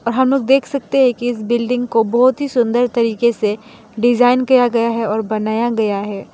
और हम लोग देख सकते हैं कि इस बिल्डिंग को बहोत ही सुंदर तरीके से डिजाइन किया गया है और बनाया गया है।